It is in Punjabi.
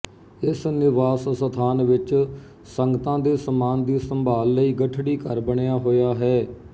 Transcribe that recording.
ਇਸ ਨਿਵਾਸ ਸਥਾਂਨ ਵਿੱਚ ਸੰਗਤਾ ਦੇ ਸਮਾਨ ਦੀ ਸੰਭਾਲ ਲਈ ਗੱਠੜੀ ਘਰ ਬਣਿਆ ਹੋਇਆ ਹੈ